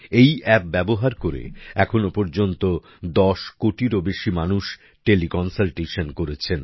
এই এপ ব্যবহার করে এখনো পর্যন্ত ১০ কোটিরও বেশি মানুষ টেলি কন্সালটেশন করেছেন